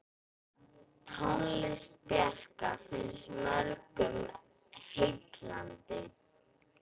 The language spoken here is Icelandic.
Tónlist Bjarkar finnst mörgum heillandi.